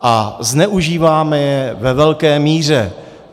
A zneužíváme je ve velké míře.